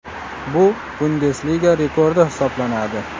Bu Bundesliga rekordi hisoblanadi.